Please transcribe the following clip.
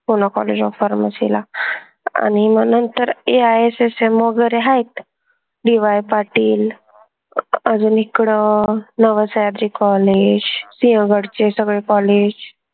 PoonaCollegeofPharmacy ला आनि म्हनून तर AISSM वगैरे हायत DY पाटील अजून इकडं नवसह्याद्री college सिंहगडचे सगळे college